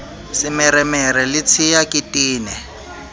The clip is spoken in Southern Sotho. semeremere le tshea ke tene